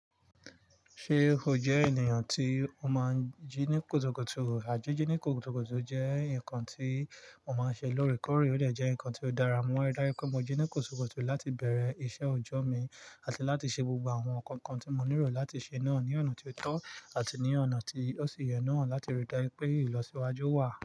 Ṣé o jẹ́ ènìyàn tí o máa ń jí ní kùtùkùtù? Àjẹjù ní kùtùkùtù jẹ́ nǹkan tí mo máa ń ṣe lórí kọ́rọ́, ó sì jẹ́ nǹkan tí ó dára. Mo ma rí dájú pé mo jí ní kùtùkùtù láti bẹ̀rẹ̀ iṣẹ́ ọjọ́ mi àti láti ṣe gbogbo àwọn nǹkan kan tí mo nílò láti ṣe náà ní ọ̀nà tí ó tọ́ àti ní ọ̀nà tí ó sì yẹ nú hàn láti ríi dájú pé ìlọsíwájú wà.